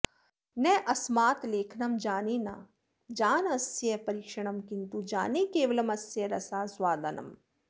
नास्मात् लेखनं जाने न जान अस्य परीक्षणं किन्तु जाने केवलमस्य रसास्वादनम्